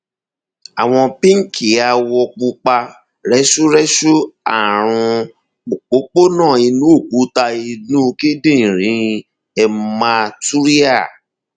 àwọ pínkìàwọ pupa rẹsúrẹsú ààrùn òpópónà inú òkúta inú kíndìnrín hematuria